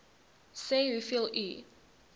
sê hoeveel u